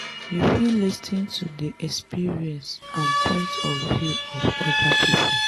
you fit lis ten to di experience and point of view of oda pipo